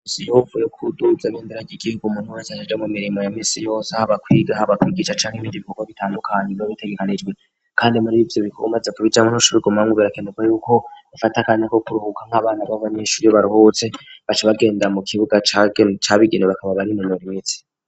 Imisi yohuvu yo kuduhutza mindaragi igihuga umuntu wese asije mu mirimo ya misi yose ah bakwigaha bakwikica cank'ibindi bikorwo bitandukanye biba bitegekanijwe kandi muri bibyo bikomaze kubijanuntushobigumangu birakenerwa yuko bafate akanya ko kuruhuka nk'abana babanishuri baruhutse baca bagenda mu kibuga ca bigino bakaba bari iinori minsi.